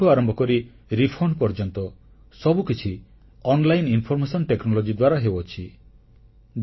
ରିଟର୍ଣ୍ଣଠାରୁ ଆରମ୍ଭ କରି ରିଫଣ୍ଡ ପର୍ଯ୍ୟନ୍ତ ସବୁକିଛି ଅନଲାଇନ ଇନଫରମେସନ ଟେକ୍ନୋଲୋଜି ଦ୍ୱାରା ହେଉଅଛି